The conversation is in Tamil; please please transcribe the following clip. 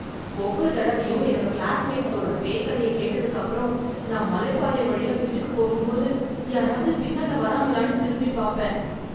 ஒவ்வொரு தடவையும் என்னோட கிளாஸ்மேட்ஸ் சொல்ற பேய் கதைய கேட்டதுக்கு அப்புறம், நான் மலை பாதை வழியா வீட்டுக்குப் போகும்போது யாராவது பின்னால வராங்களானு திரும்பி பார்ப்பேன்.